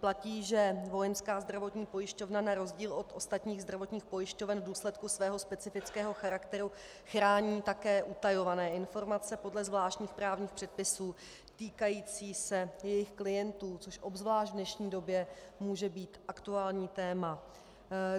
Platí, že Vojenská zdravotní pojišťovna na rozdíl od ostatních zdravotních pojišťoven v důsledku svého specifického charakteru chrání také utajované informace podle zvláštních právních předpisů týkající se jejich klientů, což obzvlášť v dnešní době může být aktuální téma.